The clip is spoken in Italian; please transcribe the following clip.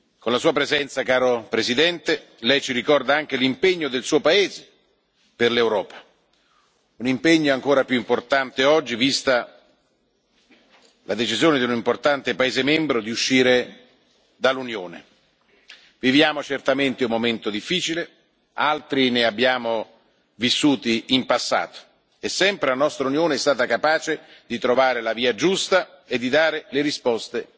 Con la Sua presenza, caro Presidente, Lei ci ricorda anche l'impegno del Suo paese per l'Europa. Un impegno ancora più importante oggi, vista la decisione di un importante paese membro di uscire dall'Unione. Viviamo certamente un momento difficile, altri ne abbiamo vissuti in passato, e sempre la nostra Unione è stata capace di trovare la via giusta e di dare le risposte